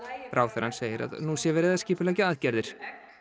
ráðherrann segir að nú sé verið að skipuleggja aðgerðir